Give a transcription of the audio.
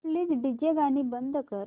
please DJ गाणी बंद कर